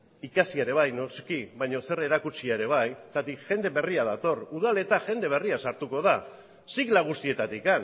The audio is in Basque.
ikasi ere bai noski baina zer erakutsia ere bai zergatik jende berria dator udaletan jende berria sartuko da sigla guztietatik